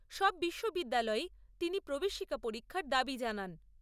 সব বিশ্ববিদ্যালয়েই তিনি প্রবেশিকা পরীক্ষার দাবী জানান।